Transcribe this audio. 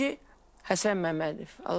Birinci Həsən Məmmədov.